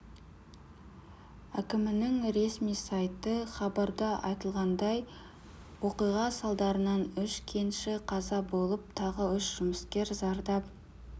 әкімінің ресми сайты хабарда айтылғандай оқиға салдарынан үш кенші қаза болып тағы үш жұмыскер зардап